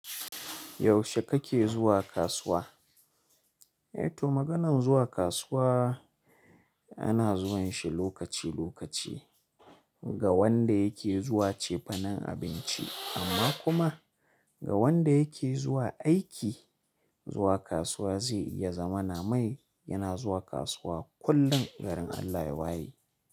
Yaushe kake zuwa kasuwa? Eh toh maganan zuwa kasuwa ana zuwan shi lokaci lokaci. Ga wanda yake zuwa cefanen abinci amma kuma ga wanda yake zuwa aiki, zuwa kasuwa zai iya zama na mai yana zuwa kasuwa kullum, garin Allah ya waye.